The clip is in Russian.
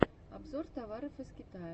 обзор товаров из китая